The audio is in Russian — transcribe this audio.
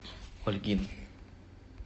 ольгин